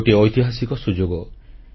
ଏହା ଗୋଟିଏ ଐତିହାସିକ ସୁଯୋଗ